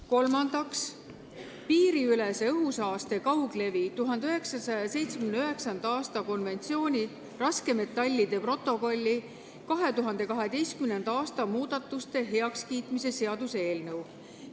Kolmandaks, piiriülese õhusaaste kauglevi 1979. aasta konventsiooni raskemetallide protokolli muudatuste ratifitseerimise seaduse eelnõu.